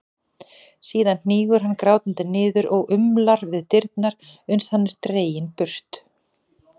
Síðan hnígur hann grátandi niður og umlar við dyrnar uns hann er dreginn burt.